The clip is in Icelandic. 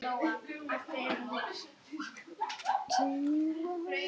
Var þetta ekki konan sem fór inn í sjúkrabílinn?